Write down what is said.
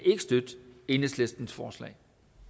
støtte enhedslistens forslag